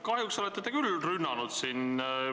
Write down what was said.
Kahjuks olete te siin rünnanud küll.